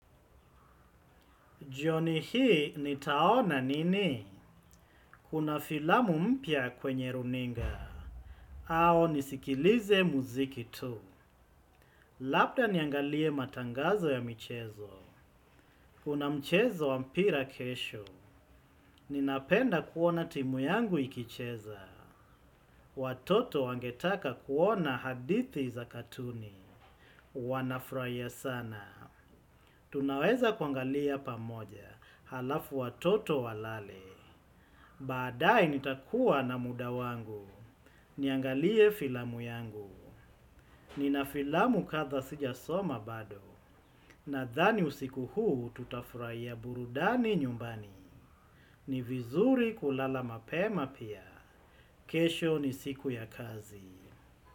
Jioni hii nitaona nini? Kuna filamu mpya kwenye runinga. Au nisikilize muziki tu. Labda niangalie matangazo ya michezo. Kuna mchezo wa mpira kesho. Ninapenda kuona timu yangu ikicheza. Watoto wangetaka kuona hadithi za katuni. Wanafurahia sana. Tunaweza kuangalia pamoja. Halafu watoto walale. Baadae nitakuwa na muda wangu. Niangalie filamu yangu. Nina filamu kadha sijasoma bado. Nadhani usiku huu tutafurahia burudani nyumbani. Ni vizuri kulala mapema pia. Kesho ni siku ya kazi.